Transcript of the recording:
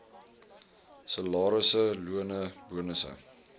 salarisse lone bonusse